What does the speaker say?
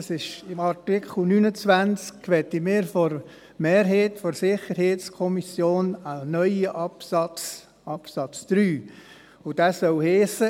In Artikel 29 möchten wir von der SiK-Mehrheit einen neuen Absatz 3, und dieser soll lauten: